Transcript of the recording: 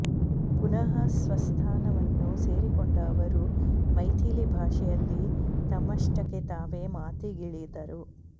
ಪುನಃ ಸ್ವಸ್ಥಾನವನ್ನು ಸೇರಿಕೊಂಡ ಅವರು ಮೈಥಿಲಿ ಭಾಷೆಯಲ್ಲಿ ತಮ್ಮಷ್ಟಕ್ಕೆ ತಾವೇ ಮಾತಿಗಿಳಿದರು